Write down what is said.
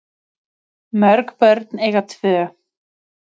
Mörg börn eiga tvö.